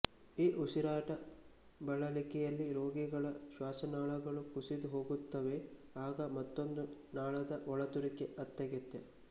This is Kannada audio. ಈ ಉಸಿರಾಟ ಬಳಲಿಕೆಯಲ್ಲಿ ರೋಗಿಗಳ ಶ್ವಾಸನಾಳಗಳು ಕುಸಿದು ಹೋಗುತ್ತವೆಆಗ ಮತ್ತೊಂದು ನಾಳದ ಒಳತೂರಿಕೆ ಅತ್ಯಗತ್ಯ